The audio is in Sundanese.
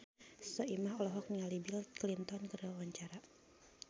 Soimah olohok ningali Bill Clinton keur diwawancara